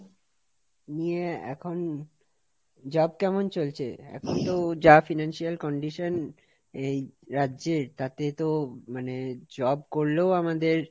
নিয়ে এখন job কেমন চলছে? এখন তো যাFinancial condition এই রাজ্যের তাতে তো মানে জব করলেও আমাদের,